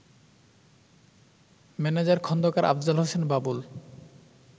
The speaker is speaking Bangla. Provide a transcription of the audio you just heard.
ম্যানেজার খন্দকার আফজাল হোসেন বাবুল